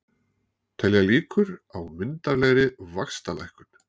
Telja líkur á myndarlegri vaxtalækkun